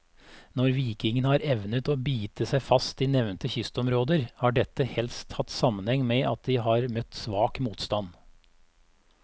Når vikingene har evnet å bite seg fast i nevnte kystområder, har dette helst hatt sammenheng med at de har møtt svak motstand.